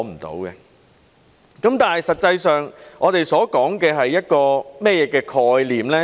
但實際上，我們所說的是一個怎麼樣的概念呢？